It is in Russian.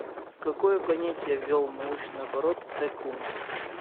какое понятие ввел в научный оборот т кун